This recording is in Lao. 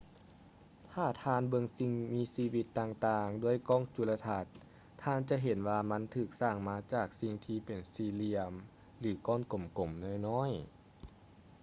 ຖ້າທ່ານເບິ່ງສິ່ງມີຊີວິດຕ່າງໆດ້ວຍກ້ອງຈຸລະທັດ ທ່ານຈະເຫັນວ່າມັນຖືກສ້າງມາຈາກສິ່ງທີ່ເປັນສີ່ຫລ່ຽມ ຫຼື ກ້ອນກົມໆນ້ອຍໆ